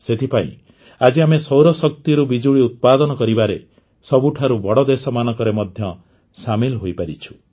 ସେଥିପାଇଁ ଆଜି ଆମେ ସୌରଶକ୍ତିରୁ ବିଜୁଳି ଉତ୍ପାଦନ କରିବାରେ ସବୁଠାରୁ ବଡ଼ ଦେଶମାନଙ୍କ ମଧ୍ୟରେ ସାମିଲ ହୋଇପାରିଛୁ